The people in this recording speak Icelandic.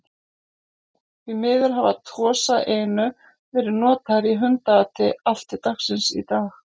Því miður hafa Tosa Inu verið notaðir í hundaati allt til dagsins í dag.